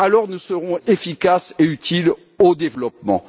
Alors, nous serons efficaces et utiles au développement.